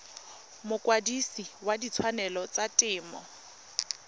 mokwadise wa ditshwanelo tsa temo